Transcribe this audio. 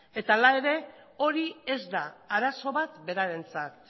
eta hala ere hori ez da arazo bat berarentzat